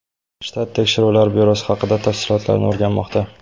Shtat tekshiruvlar byurosi hodisa tafsilotlarini o‘rganmoqda.